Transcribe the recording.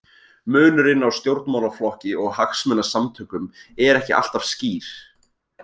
Munurinn á stjórnmálaflokki og hagsmunasamtökum er ekki alltaf skýr.